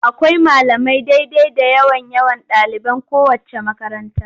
Akwai malamai daidai da yawan yawan ɗaliban kowaceec makaranta.